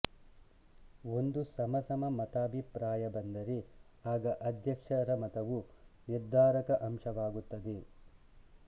ಒಂದು ಸಮಸಮ ಮತಾಭಿಪ್ರಾಯ ಬಂದರೆ ಆಗ ಅಧ್ಯಕ್ಷರ ಮತವು ನಿರ್ಧಾರಕ ಅಂಶವಾಗುತ್ತದೆ